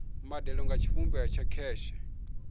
mbadelo nga tshivhumbeo tsha kheshe